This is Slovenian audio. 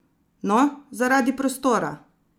No, zaradi prostora!